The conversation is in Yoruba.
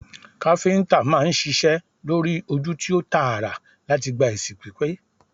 Káfíntà máa ń ṣiṣẹ lori oju ti o taara lati gba esi pipe